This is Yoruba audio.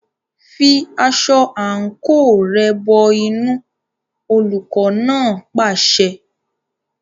Fi aṣọ àǹkóò rẹ̀ bọ inú, olùkọ́ náà pàṣẹ.